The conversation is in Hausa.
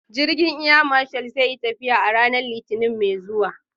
Jirgin Air Marshal zai yi tafiya a ranar Litinin mai zuwa.